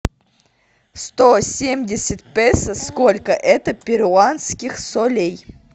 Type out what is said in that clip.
сто семьдесят песо сколько это перуанских солей